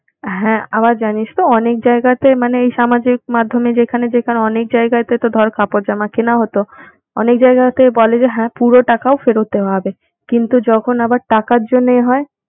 হ্যাঁ আবার জানিসতো অনেক জায়গাতে মানে এই সামাজিক মাধ্যমে যেখানে যেখানে অনেক জায়গাতে তো ধর কাপড় জামা কেনা হতো, অনেক জায়গাতে বলে যে হ্যাঁ পুরো টাকাও ফেরত দেওয়া হবে কিন্তু যখন আবার টাকার জন্যে এ হয়